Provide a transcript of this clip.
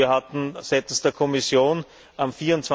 Wir hatten seitens der Kommission am